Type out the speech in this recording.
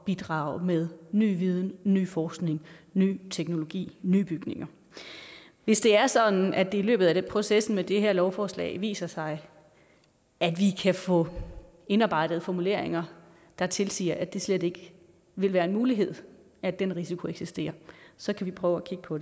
bidrage med ny viden ny forskning ny teknologi nye bygninger hvis det er sådan at det i løbet af processen med det her lovforslag viser sig at vi kan få indarbejdet formuleringer der tilsiger at det slet ikke vil være en mulighed at den risiko eksisterer så kan vi prøve at kigge på